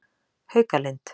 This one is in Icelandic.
Haukalind